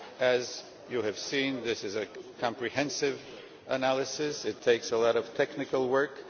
As you have seen, this is a comprehensive analysis, it takes a lot of technical work.